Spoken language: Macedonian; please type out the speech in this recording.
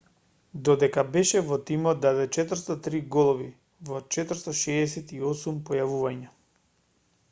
додека беше во тимот даде 403 голови во 468 појавувања